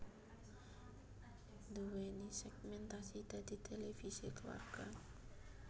nduwèni sègmèntasi dadi televisi kulawarga